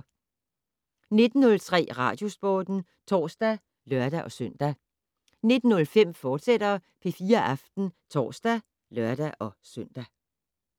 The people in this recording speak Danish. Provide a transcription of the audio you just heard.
19:03: Radiosporten (tor og lør-søn) 19:05: P4 Aften, fortsat (tor og lør-søn)